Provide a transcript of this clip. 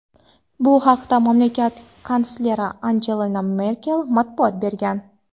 Bu haqda mamlakat kansleri Angela Merkel ma’lumot bergan.